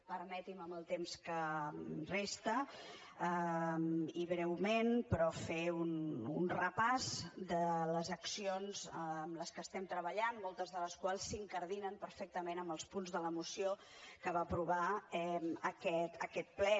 permeti’m amb el temps que resta i breument però fer un repàs de les accions en les que estem treballant moltes de les quals s’incardinen perfectament en els punts de la moció que va aprovar aquest ple